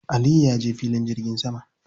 Aliyu ya je filin jirgin sama.